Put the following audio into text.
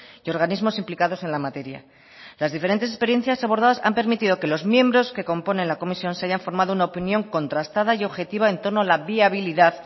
y organismos implicados en la materia las diferentes experiencias abordadas han permitido que los miembros que componen la comisión se hayan formado una opinión contrastada y objetiva en torno a la viabilidad